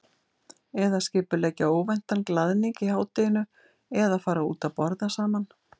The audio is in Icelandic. Eða skipuleggja óvæntan glaðning í hádeginu eða fara út að borða saman.